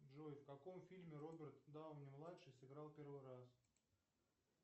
джой в каком фильме роберт дауни младший сыграл первый раз